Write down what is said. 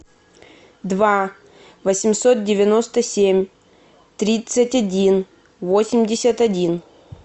два восемьсот девяносто семь тридцать один восемьдесят один